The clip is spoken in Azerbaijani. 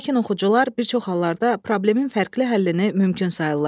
Lakin oxucular bir çox hallarda problemin fərqli həllini mümkün sayırlar.